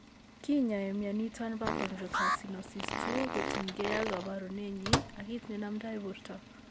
Kinyoe mioni iton po chondrocalcinosis 2 kotien ke ag koporunenyin ak kit ne nomdo porto.